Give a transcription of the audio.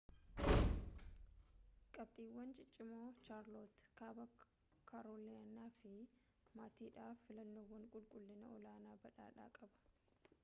qabxiiwwan ciccimoo chaarlootte kaaba kaarooliinaa maatiidhaaf filannoowwan qulqullina-olaanaa badhaadhaa qaba